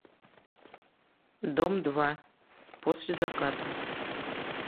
дом два после заката